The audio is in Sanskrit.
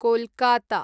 कोलकाता